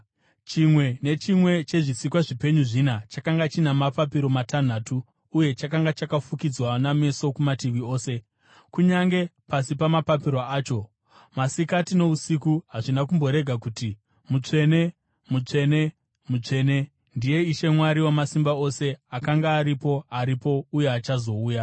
Chimwe nechimwe chezvisikwa zvipenyu zvina chakanga china mapapiro matanhatu uye chakanga chakafukidzwa nameso kumativi ose, kunyange pasi pamapapiro acho. Masikati nousiku hazvina kumborega kuti: “Mutsvene, mutsvene, mutsvene, ndiye Ishe Mwari Wamasimba Ose, akanga aripo, aripo, uye achazouya.”